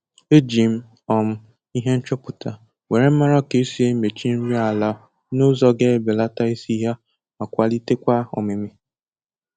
Eji m um ihe nchọpụta were mara ka esi emechi nri ala n'ụzọ ga ebeleta isi ya ma kwalitekwa ọmịmị